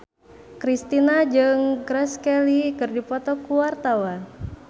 Kristina jeung Grace Kelly keur dipoto ku wartawan